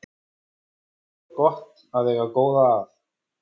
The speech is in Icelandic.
Þá er gott að eiga góða að.